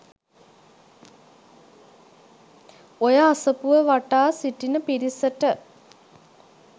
ඔය අසපුව වටා සිටින පිරිසට